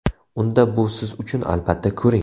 Unda bu siz uchun, albatta ko‘ring!.